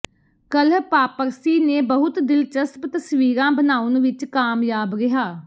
ਕੱਲ੍ਹ ਪਾਪਰਸੀ ਨੇ ਬਹੁਤ ਦਿਲਚਸਪ ਤਸਵੀਰਾਂ ਬਣਾਉਣ ਵਿਚ ਕਾਮਯਾਬ ਰਿਹਾ